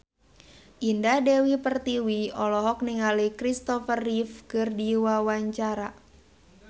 Indah Dewi Pertiwi olohok ningali Christopher Reeve keur diwawancara